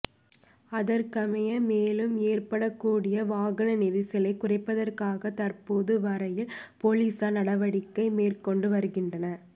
அதற்கமைய மேலும் ஏற்படக் கூடிய வாகன நெரிசலை குறைப்பதற்காக தற்போது வரையில் பொலிஸார் நடவடிக்கை மேற்கொண்டு வருகின்றனர்